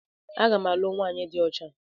Aga m alụ nwaanyị dị ọcha.